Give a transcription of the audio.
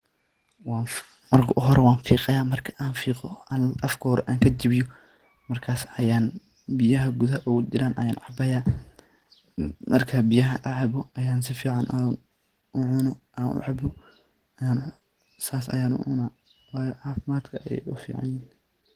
Marka hore wan fiqaya, marka an fiqo oo afka hore an kajabiyo markas ayaan biyaha gudaha oga jiraan ayan cabaya marka biyaha gudaha kujiran an cabo ayan sifican u cuno an u cabo sas ayan u cuna wayo cafimadka ayey u fican yihin.